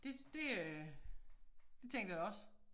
Det det øh det tænkte jeg da også